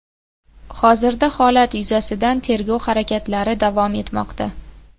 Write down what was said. Hozirda holat yuzasidan tergov harakatlari davom etmoqda.